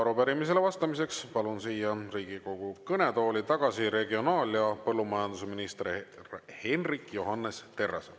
Ja arupärimisele vastamiseks palun siia Riigikogu kõnetooli tagasi regionaal- ja põllumajandusminister Hendrik Johannes Terrase.